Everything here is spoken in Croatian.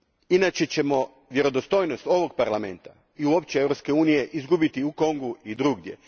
Inače ćemo vjerodostojnost ovog Parlamenta i uopće Europske unije izgubiti u Kongu i drugdje.